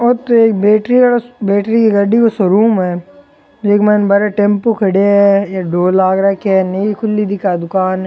ओ तो एक बैटरी वाला बैटरी की गाड़ी को शोरूम है इक मायने बारे टेम्पू खड़या है ए ढोल लाग राख्या है नई खुली है आ दुकान।